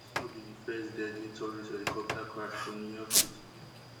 dis no be di first deadly tourist helicopter crash for new york city